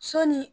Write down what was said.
Sɔɔni